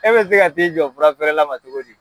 E bɛ se ka t'i jɔ furafeere la ma cogo di?